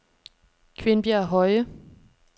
Kvindbjerg Høje